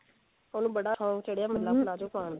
ਉਹਨੂੰ ਬੜਾ ਚਾਅ ਚੜਿਆ palazzo ਪਾਉਣ ਦਾ